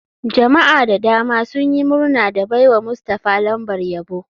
Jama'a da dama sun yi murna da baiwa mustafah lambar yabo.